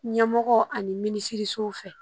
Ɲɛmɔgɔ ani minisiriso fɛ